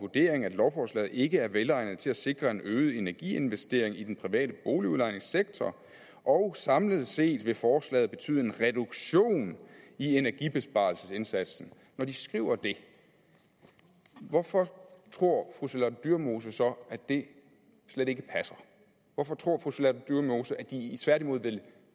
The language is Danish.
vurdering at lovforslaget ikke er velegnet til at sikre en øget energiinvestering i den private boligudlejningssektor og samlet set vil forslaget derfor betyde en reduktion i energibesparelsesindsatsen når de skriver det hvorfor tror fru charlotte dyremose så at det slet ikke passer hvorfor tror fru charlotte dyremose at de tværtimod